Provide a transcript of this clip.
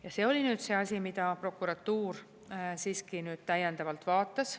Ja see oli nüüd see asi, mida prokuratuur siiski täiendavalt vaatas.